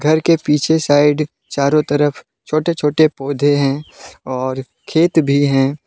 घर के पीछे साइड चारों तरफ छोटे छोटे पौधे है और खेत भी है।